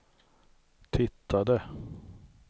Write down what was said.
tittade